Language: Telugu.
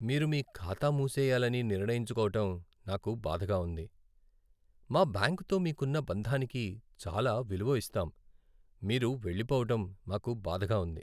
మీరు మీ ఖాతా మూసెయ్యాలని నిర్ణయించుకోవటం నాకు బాధగా ఉంది. మా బ్యాంకుతో మీకున్న బంధానికి చాలా విలువ ఇస్తాం, మీరు వెళ్లిపోవడం మాకు బాధగా ఉంది.